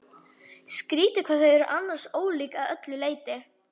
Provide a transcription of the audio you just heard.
Skrýtið hvað þau eru annars ólík að öllu leyti.